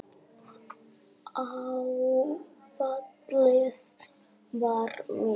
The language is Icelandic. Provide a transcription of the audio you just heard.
Áfallið var mikið.